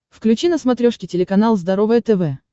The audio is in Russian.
включи на смотрешке телеканал здоровое тв